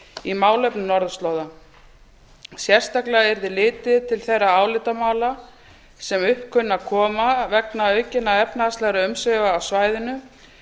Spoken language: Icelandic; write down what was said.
í málefnum norðurslóða sérstaklega yrði litið til þeirra álitamála sem upp kunna að koma vegna aukinna efnahagslegra umsvifa á svæðinu